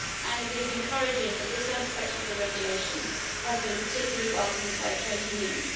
It is encouraging that this aspect of the regulation has been particularly welcomed by trade unions.